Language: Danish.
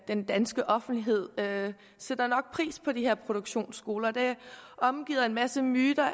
den danske offentlighed sætter nok pris på de her produktionsskoler de er omgivet af en masse myter